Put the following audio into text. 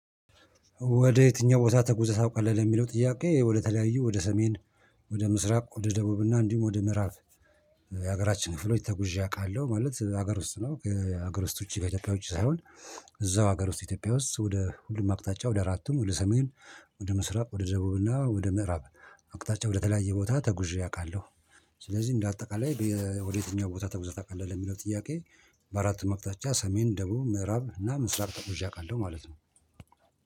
ወደ የትኛው ቦታ ተጉዘህ ታውቃለህ? ለሚለው ጥያቄ ወደ ተለያዩ ወደ ሰሜን ወደ ምስራቅ ወደ ደቡብና እንዲሁም ወደ ምዕራብ። የሀገራችን ክፍሎች ተጉዤ አውቃለሁ ማለት ሀገር ውስጥ ነው ሀገር ውስጥ ውጪ ከኢትዮጵያ ውጪ ሳይሆን እዛው ሀገር ውስጥ ኢትዮጵያ ውስጥ ወደ ሁሉም አቅጣጫ ወደ አራቱም ወደ ሰሜን ወደ ምስራቅ ወደ ደቡብና ወደ ምዕራብ አቅጣጫ ወደተለያየ ቦታ ተጉዤ አውቃለሁ። ስለዚህ እንደ አጠቃላይ ወዴትኛው ቦታ ተጉዘህ ታውቃለህ? ለሚለው ጥያቄ በአራቱም አቅጣጫ ሰሜን ደቡብ ምዕራብ እና ምስራቅ ተጉዤ አውቃለሁ ማለት ነው